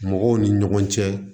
Mɔgɔw ni ɲɔgɔn cɛ